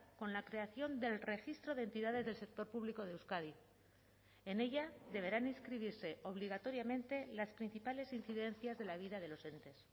con la creación del registro de entidades del sector público de euskadi en ella deberán inscribirse obligatoriamente las principales incidencias de la vida de los entes